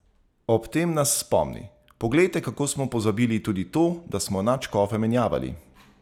Ob tem nas spomni: "Poglejte, kako smo pozabili tudi to, da smo nadškofe menjavali.